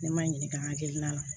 Ne ma n ɲininka hakilina la